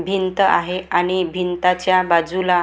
भिंत आहे आणि भिंतच्या बाजूला --